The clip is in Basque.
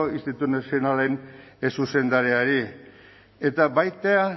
institutu nazionalen zuzendariari eta baita